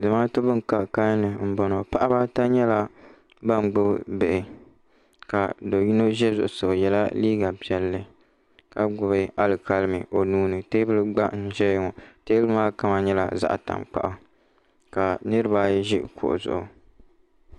Zamaatu bini ka kanli nbɔŋɔ paɣaba ata nyɛla bini gbubi bihi ka do yina za zuɣusaa o yela liiga piɛli ka gbubi alikalimi o nuu ni tɛɛbuli gba n zɛya ŋɔ tɛɛbuli maa kama nyɛla zaɣi taŋkpaɣu ka niriba ayi zi kuɣu zuɣu.